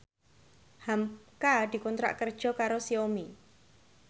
hamka dikontrak kerja karo Xiaomi